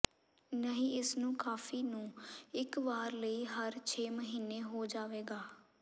ਨਹੀ ਇਸ ਨੂੰ ਕਾਫ਼ੀ ਨੂੰ ਇੱਕ ਵਾਰ ਲਈ ਹਰ ਛੇ ਮਹੀਨੇ ਹੋ ਜਾਵੇਗਾ